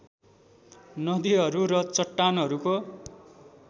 नदिहरू र चट्टानहरूको